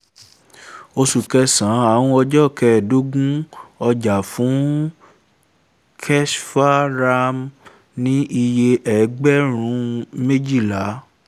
oṣù kẹsàn-án ọjọ́ kẹẹ̀dógún ọjà fún keshav ram ní iye ẹgbẹ̀rún méjìlá